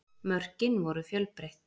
Mörkin voru fjölbreytt